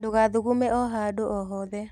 Ndũgathugume o handũ o hothe.